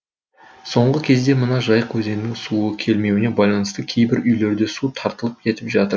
соңғы кезде мына жайық өзенінің суы келмеуіне байланысты кейбір үйлерде су тартылып кетіп жатыр